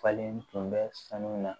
Falen tun bɛ sanu na